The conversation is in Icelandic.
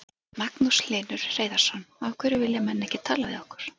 Magnús Hlynur Hreiðarsson: Af hverju vilja menn ekki tala við ykkur?